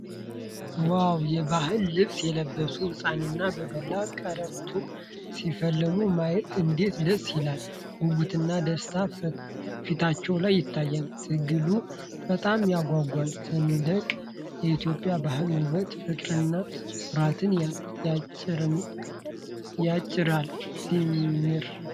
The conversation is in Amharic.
ዋው! የባህል ልብስ የለበሱ ህጻናት በዱላ ቀረርቶ ሲፋለሙ ማየት እንዴት ደስ ይላል! ጉጉትና ደስታ ፊታቸው ላይ ይታያል። ትግሉ በጣም ያጓጓል። ሲያስደንቅ! የኢትዮጵያ ባህል ውበት ፍቅርንና ኩራትን ያጭራል። ሲያምር!